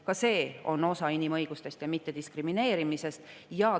Ka see on osa inimõigustest ja mittediskrimineerimisest.